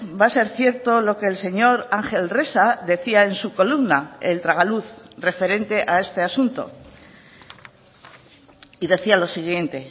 va a ser cierto lo que el señor ángel resa decía en su columna el tragaluz referente a este asunto y decía lo siguiente